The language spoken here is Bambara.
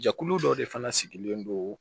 Jɛkulu dɔ de fana sigilen don